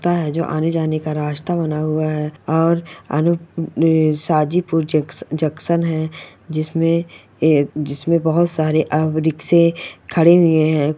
आने जाने का रास्ता बना हुआ है और आनी_हाजीपुर ज़क्स_जंक्शन है जिसमे ऐ बहुत सारे अअ रिक्शे खड़े हुए है।